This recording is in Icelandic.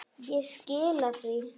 Ég skila því.